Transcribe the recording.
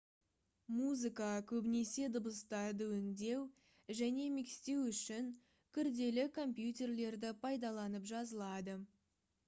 музыка көбінесе дыбыстарды өңдеу және микстеу үшін күрделі компьютерлерді пайдаланып жазылады